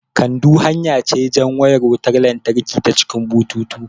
Kando hanya ce jan wayar wutan latraki ta cikin bututu